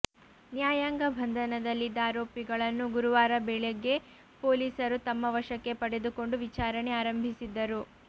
ನ್ಯಾಯಾಂಗ ಬಂಧನಲ್ಲಿದ್ದ ಆರೋಪಿಗಳನ್ನು ಗುರುವಾರ ಬೆಳಗ್ಗೆ ಪೊಲೀಸರು ತಮ್ಮ ವಶಕ್ಕೆ ಪಡೆದುಕೊಂಡು ವಿಚಾರಣೆ ಆರಂಭಿಸಿದ್ದರು